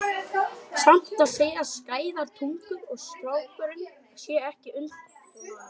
Samt segja skæðar tungur að strákurinn sé ekki undan honum.